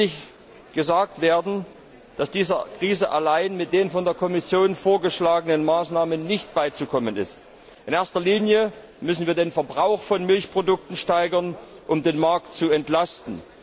Es muss deutlich gesagt werden, dass dieser Krise mit den von der Kommission vorgeschlagenen Maßnahmen alleine nicht beizukommen ist. In erster Linie müssen wir den Verbrauch von Milchprodukten steigern, um den Markt zu entlasten.